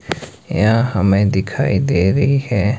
यह हमें दिखाई दे रही है।